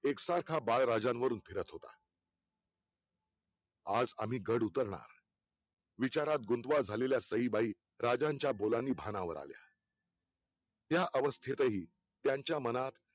एक सारखा बाळराजेंवरून फिरत होता आज आम्ही गड उतरणार विचारात गुंतव्या झालेल्या सईबाई राजांच्या बोलांनी भानावर आल्या त्या अवस्थेतही त्यांच्या मनात